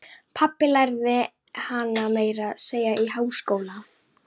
Pabbi lærði hana meira að segja í háskóla.